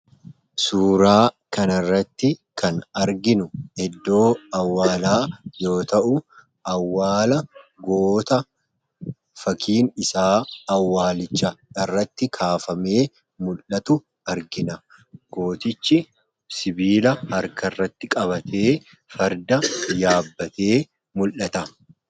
Suuraa kana irrati kan arginuu iddoo awwalaa yoo ta'u, awwalaa goota fakkiin isaa awwalichaa irratti kafamee mul'atu argina. Gotichii sibilaa harkatti qabate fardaa yaabate mul'ata.